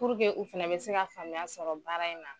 u fana bɛ se ka faamuya sɔrɔ baara in na.